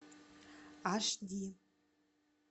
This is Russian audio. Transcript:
аш ди